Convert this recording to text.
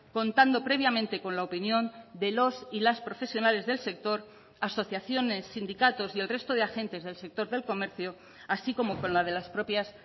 contando previamente con la opinión de los y las profesionales del sector asociaciones sindicatos y el resto de agentes del sector del comercio así como con la de las propias